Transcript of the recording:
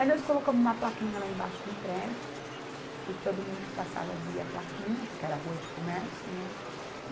Aí nós colocamos uma plaquinha lá embaixo no prédio, e todo mundo que passava via a plaquinha, porque era rua de comércio, né?